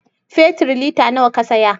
Fetir lita nawa Ka saya